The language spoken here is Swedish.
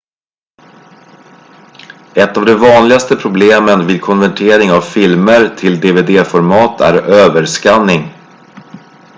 ett av de vanligaste problemen vid konvertering av filmer till dvd-format är överskanning